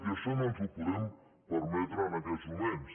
i això no ens ho podem permetre en aquests moments